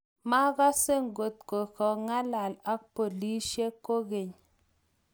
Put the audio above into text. makase ngot keng'alal ak polisiek kokeny